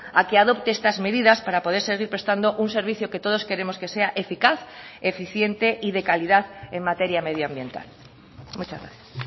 a que adopte estas medidas para poder seguir prestando un servicio que todos queremos que sea eficaz eficiente y de calidad en materia medioambiental muchas gracias